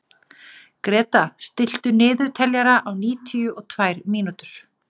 Gréta, stilltu niðurteljara á níutíu og tvær mínútur.